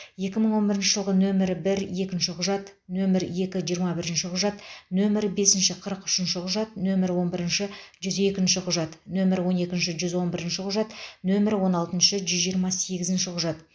екі мың он бірінші жылғы нөмірі бір екінші құжат нөмірі екі жиырма бірінші құжат нөмірі бесінші қырық үшінші құжат нөмірі он бірінші жүз екінші құжат нөмірі он екінші жүз он бірінші құжат нөмірі он алтыншы жүз жиырма сегізінші құжат